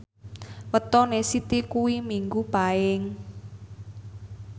wetone Siti kuwi Minggu Paing